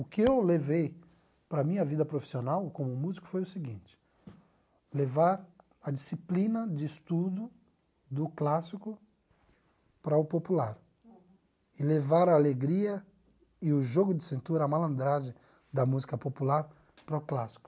O que eu levei para a minha vida profissional como músico foi o seguinte, levar a disciplina de estudo do clássico para o popular e levar a alegria e o jogo de cintura, a malandragem da música popular para o clássico.